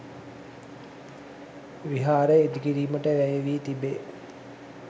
විහාරය ඉදිකිරීමට වැය වී තිබේ.